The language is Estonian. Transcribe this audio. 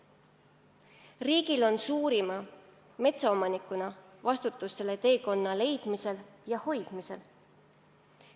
Riigil on suurima metsaomanikuna vastutus selle teekonna leidmisel ja sellel püsimisel.